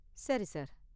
சரி சார்.